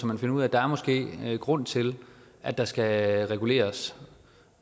man finder ud af at der måske er en grund til at der skal reguleres